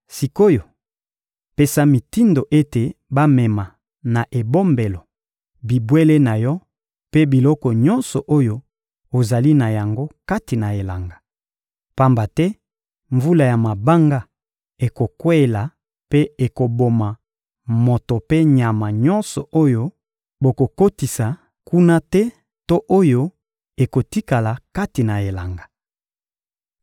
Sik’oyo, pesa mitindo ete bamema na ebombelo, bibwele na yo mpe biloko nyonso oyo ozali na yango kati na elanga. Pamba te mvula ya mabanga ekokweyela mpe ekoboma moto mpe nyama nyonso oyo bokokotisa kuna te to oyo ekotikala kati na elanga.›»